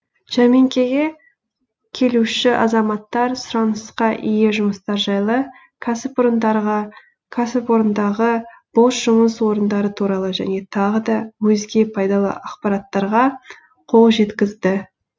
жәрмеңкеге келуші азаматтар сұранысқа ие жұмыстар жайлы кәсіпорындағы бос жұмыс орындары туралы және тағы да өзге пайдалы ақпараттарға қол жеткізді